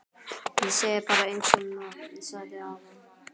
Ég segi bara einsog ég sagði áðan